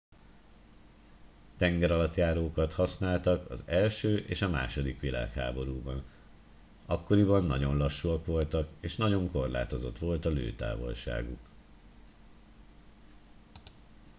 tengeralattjárókat használtak az i és a ii világháborúban akkoriban nagyon lassúak voltak és nagyon korlátozott volt a lőtávolságuk